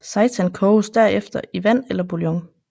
Seitan koges derefter i vand eller bouillon